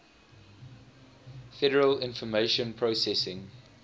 federal information processing